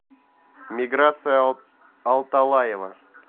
миграция алталаева